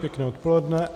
Pěkné odpoledne.